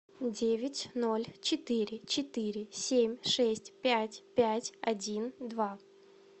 девять ноль четыре четыре семь шесть пять пять один два